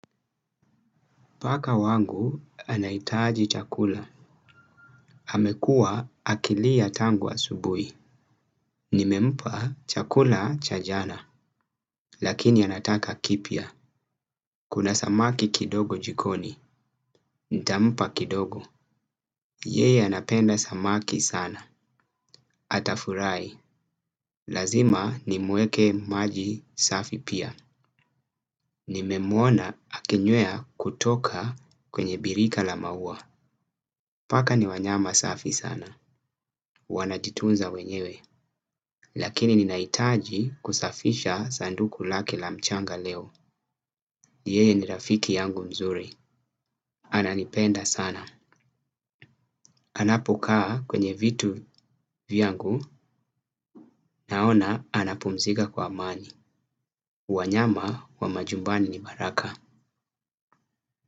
Paka wangu anahitaji chakula. Amekua akilia tangu subuhi. Nimempa chakula cha jana. Lakini anataka kipya. Kuna samaki kidogo jikoni. Nitampa kidogo. Yeye anapenda samaki sana. Atafurahi. Lazima nimuwekee maji safi pia. Nimemwona akinywea kutoka kwenye birika la maua. Paka ni wanyama safi sana. Wana jitunza wenyewe. Lakini ninaitaji kusafisha sanduku lake la mchanga leo yeye ni rafiki yangu mzuri ananipenda sana anapokaa kwenye vitu vyangu. Naona anapumzika kwa amani. Wanyama wa majumbani ni baraka.